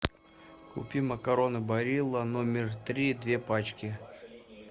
купи макароны барилла номер три две пачки